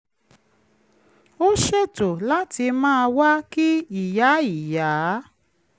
ó ṣètò láti máa wá kí ìyá ìyá